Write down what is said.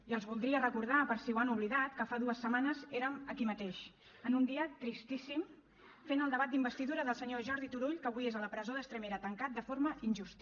i els voldria recordar per si ho han oblidat que fa dues setmanes érem aquí mateix en un dia tristíssim fent el debat d’investidura del senyor jordi turull que avui és a la presó d’estremera tancat de forma injusta